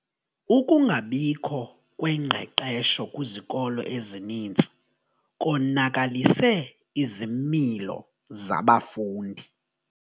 Ukungabikho kwengqeqesho kwizikolo ezininzi konakalise izimilo zabafundi.